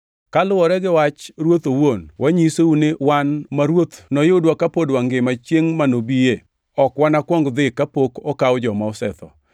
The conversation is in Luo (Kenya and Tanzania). Kaluwore gi wach Ruoth owuon, wanyisou ni wan ma Ruoth noyudwa ka pod wangima chiengʼ ma nobie, ok wanakwong dhi kapok okaw joma osetho.